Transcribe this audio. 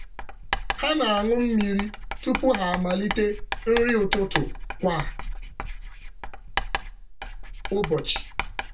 Ha na-aṅụ mmiri tupu ha amalite nri ụtụtụ kwa ụbọchị.